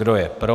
Kdo je pro.